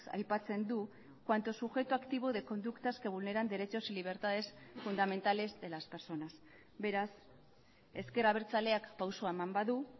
aipatzen du cuanto sujeto activo de conductas que vulneran derechos y libertades fundamentales de las personas beraz ezker abertzaleak pausoa eman badu